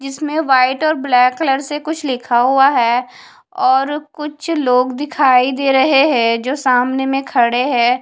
इसमें वाइट और black colour से कुछ लिखा हुआ है और कुछ लोग दिखाई दे रहे हैं जो सामने में खड़े हैं।